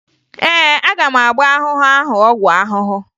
Ee, aga m agba ahụhụ ahụ ọgwụ ahụhụ